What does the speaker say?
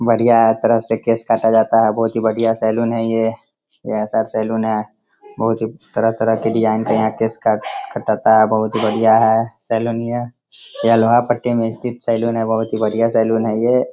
बढियां एक तरह से केश काटा जाता है। बहुत ही बढियां सैलून है ये। यह साइड सैलून है बहुत ही तरह तरह के डिज़ाइन के यहाँ केश काट कटाता है बहुत ही बढ़िया है सैलून ये। यह लोहापट्टी में स्थित सैलून है। बहुत ही बढियां सैलून है ये।